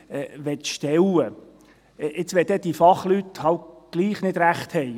Was, wenn diese Fachleute dann doch nicht recht haben?